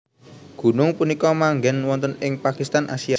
Gunung punika manggen wonten ing Pakistan Asia